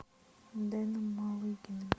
дэном малыгиным